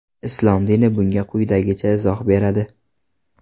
Islom dini bunga quyidagicha izoh beradi.